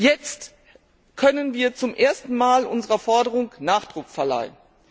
Jetzt können wir zum ersten Mal unserer Forderung Nachdruck verleihen.